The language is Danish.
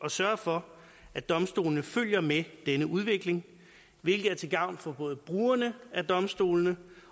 at sørge for at domstolene følger med denne udvikling hvilket er til gavn for både brugerne af domstolene